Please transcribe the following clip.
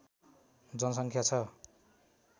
जनसङ्ख्या छ